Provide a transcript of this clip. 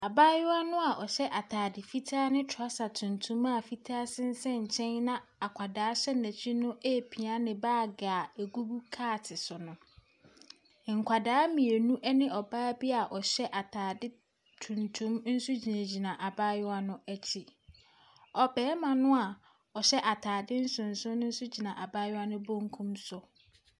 Abatewa no a ɔhyɛ atade fitaa ne trɔsa tuntum a fitaa sensɛn nkyɛn na akwadaa hyɛ n'akyi no repia ne bag a ɛgugu cart so no. nkwadaa mmienu ne ɔbaa bi a ɔhyɛ tuntum nso gyinagyina abayewa no akyi. Ɔbarima no a ɔhyɛ atade nsonson no nso gyina abayewa no benkum so.